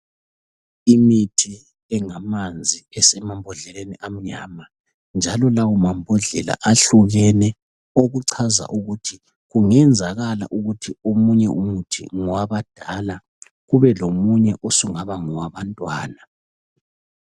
Imithi engamanzi esemambodleleni amnyama njalo lawo mambodlela ahlukene okuchaza ukuthi kungenzakala ukuthi omunye umuthi ngowabadala kube lomunye osungaba ngowabantwana.